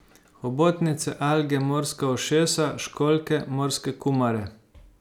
Hobotnice, alge, morska ušesa, školjke, morske kumare ...